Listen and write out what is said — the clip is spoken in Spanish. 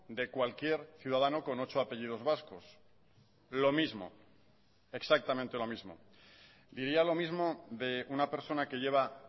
de cualquier ciudadano con ocho apellidos vascos lo mismo exactamente lo mismo diría lo mismo de una persona que lleva